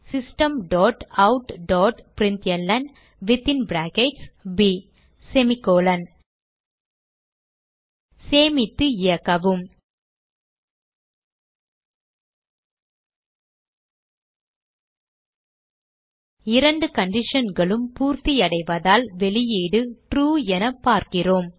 system dot out dot println சேமித்து இயக்கவும் இரண்டு conditionகளும் பூர்த்தியடைவதால் வெளியீடு ட்ரூ என பார்க்கிறோம்